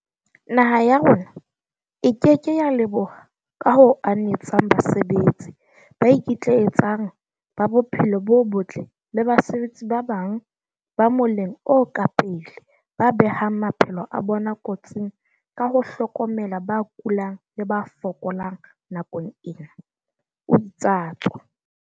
"Naha ya rona e ke ke ya leboha ka ho anetseng basebetsi ba ikitlaetsang ba bophelo bo botle le basebetsi ba bang ba moleng o ka pele ba behang maphelo a bona kotsing ka ho hlokomela ba kulang le ba fokolang nakong ena," o itsatso.